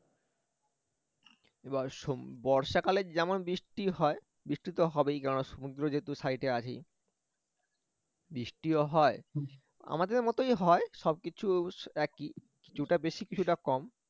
এবার বর্ষাকালে যেমন বৃষ্টি হয় বৃষ্টি তো হবেই কেননা সমুদ্র যেহেতু সাইডে আছেই বৃষ্টিও হয় আমাদের মতই হয় সবকিছু একই কিছুটা বেশি কিছুটা কম